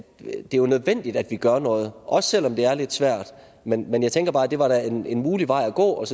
jo nødvendigt at vi gør noget også selv om det er lidt svært men men jeg tænker bare at det var da en en mulig vej at gå og at